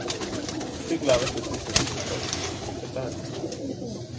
Tri glave se stisnejo skupaj, šepetanje.